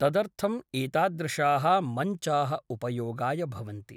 तदर्थम् एतादृशाः मञ्चाः उपयोगाय भवन्ति।